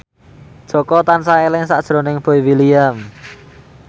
Jaka tansah eling sakjroning Boy William